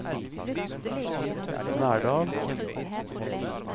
Verdal